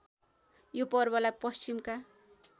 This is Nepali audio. यो पर्वलाई पश्चिमका